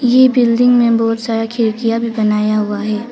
ये बिल्डिंग में बहुत सारा खिड़कियां भी बनाया हुआ है।